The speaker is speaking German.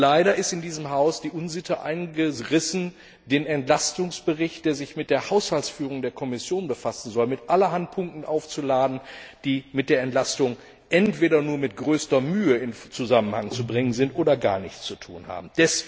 Leider ist in diesem Haus die Unsitte eingerissen, den Entlastungsbericht, der sich mit der Haushaltsführung der Kommission befassen soll, mit allerhand Punkten aufzuladen, die mit der Entlastung entweder nur mit größter Mühe in Zusammenhang zu bringen sind oder gar nichts mit ihr zu tun haben.